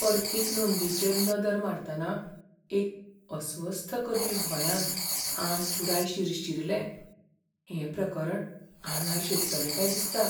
अर्थीक नोंदींचेर नदर मारतना एक अस्वस्थ करपी भंयान आंग पुराय शिरशिरलें, हें प्रकरण आंगार शेकतलें काय दिसता.